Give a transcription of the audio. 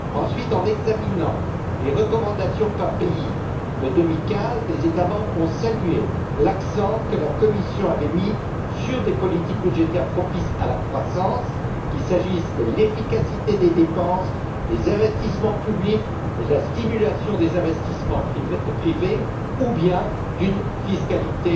Ensuite, en examinant les recommandations par pays de 2015, les États membres ont salué l'accent que la Commission avait mis sur des politiques budgétaires propices à la croissance, qu'il s'agisse de l'efficacité des dépenses, des investissements publics et de la stimulation des investissements privés, ou bien d'une fiscalité